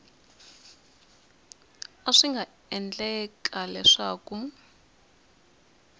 a swi nga endleka leswaku